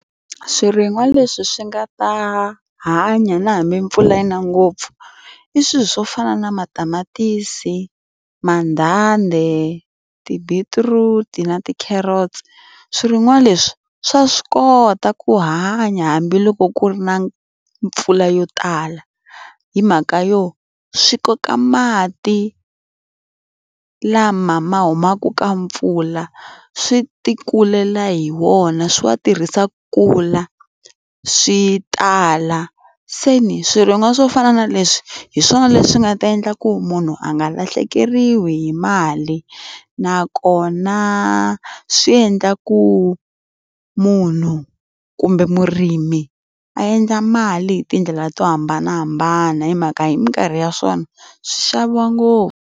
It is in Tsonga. Swirin'wa leswi swi nga ta hanya na hambi mpfula yi na ngopfu, i swilo swo fana na matamatisi, mandanda, ti-beetroot-i na ti-carrots. Swirin'wa leswi swa swi kota ku hanya hambiloko ku ri na mpfula yo tala. Hi mhaka yo swi koka mati lama ma humaka ka mpfula, swi ti kulela hi wona, swi wa tirhisa kula, swi tala. Se ni swirin'wa swo fana na leswi, hi swona leswi nga ta endla ku munhu a nga lahlekeriwa hi mali. Nakona swi endla ku munhu kumbe murimi a endla mali hi tindlela to hambanahambana hi mhaka hi minkarhi ya swona, swi xaviwa ngopfu.